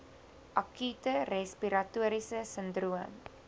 akute respiratoriese sindroom